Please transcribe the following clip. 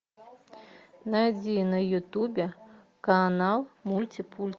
найди на ютубе канал мульти пульти